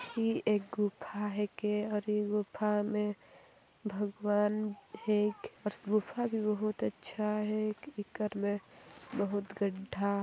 ये एक गुफा है के और गुफा मे भगवान है एक आस गुफा भी बोहोत अच्छा है इक इकर मे बहुत गड्ढा--